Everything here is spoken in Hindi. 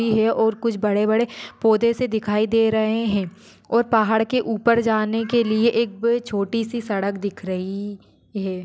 और कुछ बड़े बड़े पौधे से दिखाई दे रहे है और पहाड़ के उपर जाने के लिए एक छोटीसी सड़क दिख रही है।